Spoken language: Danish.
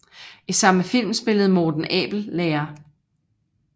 I samme film spillede Morten Abel lærer